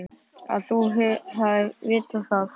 Að þú hafir vitað það.